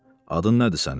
Adın nədir sənin?